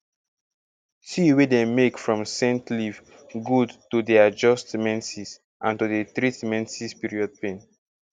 tea wey dem make from scent leaf good to dey adjust menses and to dey treat menses period pain